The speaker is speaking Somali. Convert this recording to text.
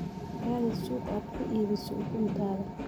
Raadi suuq aad ku iibiso ukuntaada.